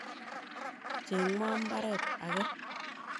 Cheng'wa mbaret age.